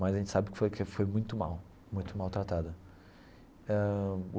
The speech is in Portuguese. Mas a gente sabe que foi que foi muito mal, muito mal tratada ãh.